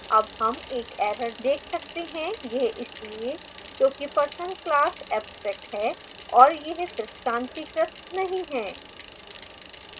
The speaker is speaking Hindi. अब हम एक error देख सकते हैं यह इसलिए क्योंकि person class abstract है और यह दृष्टांतिकृत नहीं है